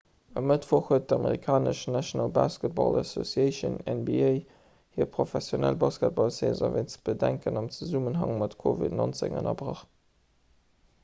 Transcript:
e mëttwoch huet d'amerikanesch national basketball association nba hir professionell basketballsaison wéinst bedenken am zesummenhang mat covid-19 ënnerbrach